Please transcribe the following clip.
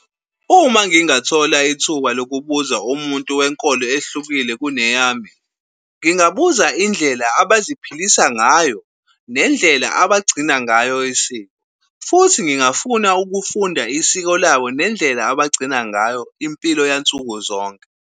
Uma ngingathola ithuba lokubuza umuntu wenkolo ehlukile kuneyami, ngingabuza indlela abaziphilisa ngayo nendlela abagcina ngayo isiko, futhi ngingafuna ukufunda isiko labo nendlela abagcina ngayo impilo yansuku zonke.